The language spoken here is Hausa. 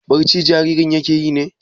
Barci jaririn yake yi ne?